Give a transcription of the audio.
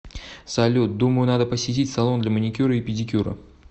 салют думаю надо посетить салон для маникюра и педикюра